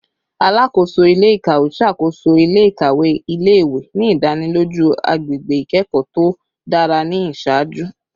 Alakoso ile-ikawe ṣakoso ile-ikawe ile-iwe, ni idaniloju agbegbe ikẹkọ to dara ni iṣaaju